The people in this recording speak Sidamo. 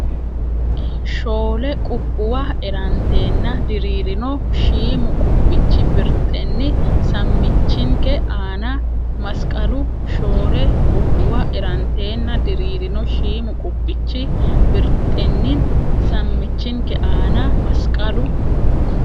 Shoole qubbuwa eranteenna diriirino shiimu qubbichi birxenni sammichinke aana masqalu Shoole qubbuwa eranteenna diriirino shiimu qubbichi birxenni sammichinke aana masqalu.